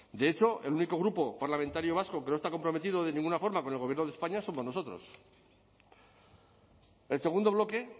de hecho el único grupo parlamentario vasco que no está comprometido de ninguna forma con el gobierno de españa somos nosotros el segundo bloque